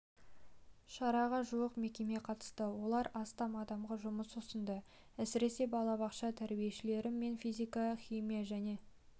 шараға жуық мекеме қатысты олар астам адамға жұмыс ұсынды әсіресе балабақша тәрбиешілері мен физика химия және